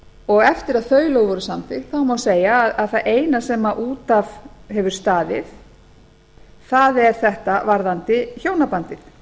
og eftir að þau lög voru samþykkt má segja að það eina sem út af hefur staðið sé þetta varðandi hjónabandið